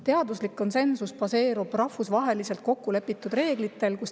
Teaduslik konsensus baseerub rahvusvaheliselt kokku lepitud reeglitel.